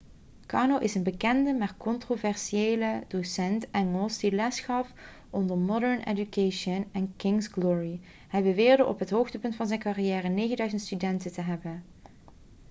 karno is een bekende maar controversiële docent engels die lesgaf onder modern education en king's glory hij beweerde op het hoogtepunt van zijn carrière 9.000 studenten te hebben